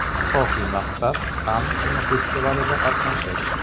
Asosiy maqsad Kann kinofestivalida qatnashish.